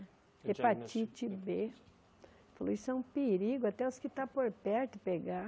Hepatite bê. Falou, isso é um perigo, até os que estão por perto pegar.